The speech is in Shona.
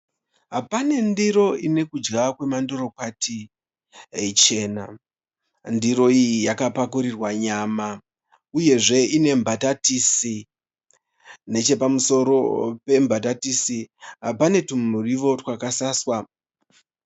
Pane ndiro ine kudya kwemandorokwati ichena. Ndiro iyi yakapakurirwa nyama uyezve ine nembatatisi, nechepamusoro pembatatisi pane twumuriwo twakasaswa.